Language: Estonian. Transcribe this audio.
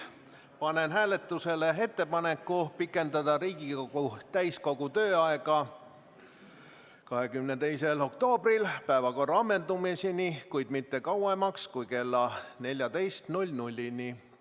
Panen hääletusele ettepaneku pikendada Riigikogu täiskogu tööaega 22. oktoobril päevakorra ammendumiseni, kuid mitte kauemaks kui kella 14-ni.